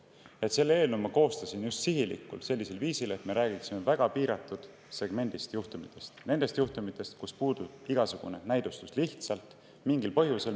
Ma koostasin selle eelnõu just sihilikult sellisel viisil, et me räägiksime väga piiratud segmendist juhtumitest: nendest juhtumitest, kus puudub igasugune näidustus, lihtsalt mingil põhjusel.